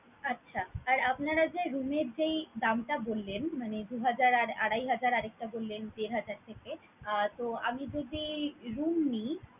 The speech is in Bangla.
আচ্ছা! আর আপনারা যে room এর যেই দামটা বললেন, মানে দু হাজার, আড়াই হাজার আর একটা বললেন দেড় হাজার থেকে আহ তো আমি যদি room নিই